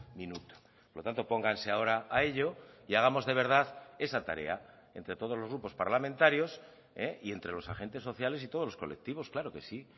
minuto por lo tanto pónganse ahora a ello y hagamos de verdad esa tarea entre todos los grupos parlamentarios y entre los agentes sociales y todos los colectivos claro que sí